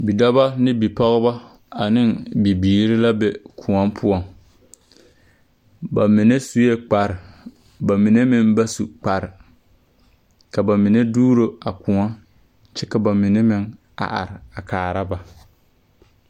Bidɔbɔ neŋ bipɔgbɔ aneŋ bibiire la be kõɔ poɔŋ ba mine suee kparre ba mine meŋ ba su kparre ka ba mine duuro a kõɔ kyɛ ka ba mine meŋ a are a kaara ba.